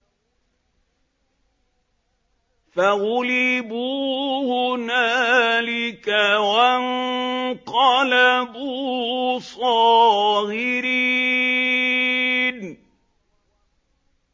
فَغُلِبُوا هُنَالِكَ وَانقَلَبُوا صَاغِرِينَ